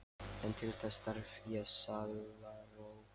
En til þess þarf ég sálarró!